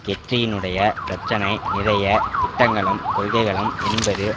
கெட்ரியினுடைய பிரச்சினை நிறைய திட்டங்களும் கொள்கைகளும் என்பது